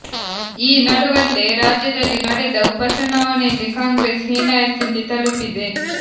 ಈ ನಡುವಲ್ಲೇ ರಾಜ್ಯದಲ್ಲಿ ನಡೆದ ಉಪಚುನಾವಣೆಯಲ್ಲಿ ಕಾಂಗ್ರೆಸ್ ಹೀನಾಯ ಸ್ಥಿತಿ ತಲುಪಿದೆ